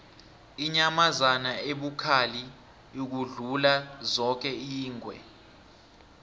inyamazana ebukhali ukudlula zoke yingwe